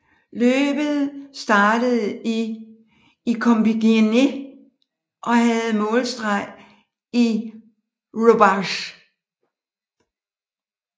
Løbet startede i Compiègne og havde målstreg i Roubaix